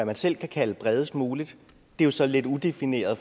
man selv kan kalde bredest muligt det er så lidt udefineret